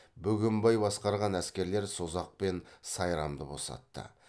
бөгенбай басқарған әскерлер созақ пен сайрамды босатты